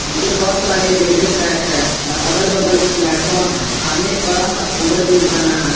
पीछे बहोत सारे रेलवे ट्रैक है और अगल बगल प्लेटफार्म है सामने एक बड़ा सा ओवर ब्रिज बना है।